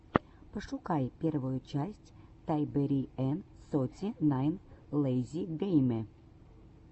пошукай первую часть тайбэриэн соти найн лэйзи гейме